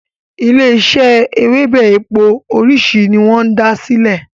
ilé ise Ewebẹ̀ èpò orisi ni wón sí dá silẹ